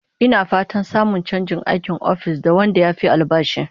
Ina fatan samun chanjin aikin ofis da wanda yafi albashi